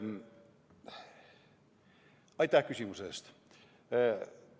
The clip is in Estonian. Aitäh küsimuse eest!